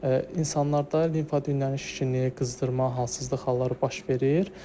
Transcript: İnsanlarda limfa düyünlərinin şişkinliyi, qızdırma, halsızlıq halları baş verir.